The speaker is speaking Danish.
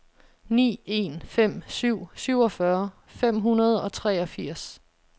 ni en fem syv syvogfyrre fem hundrede og treogfirs